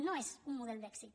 no és un model d’èxit